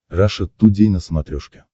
раша тудей на смотрешке